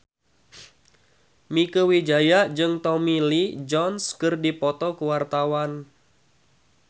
Mieke Wijaya jeung Tommy Lee Jones keur dipoto ku wartawan